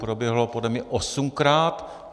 Proběhlo podle mě osmkrát.